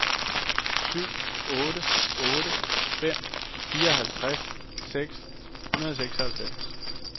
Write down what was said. syv otte otte fem fireoghalvtreds seks hundrede og seksoghalvfems